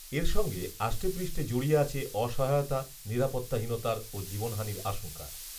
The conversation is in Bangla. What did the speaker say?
এর সঙ্গে আষ্টেপৃষ্টে জড়িয়ে আছে অসহায়তা, নিরাপত্তাহীনতার ও জীবনহানির আশঙ্কা